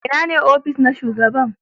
Ina ne ofis na shugaba?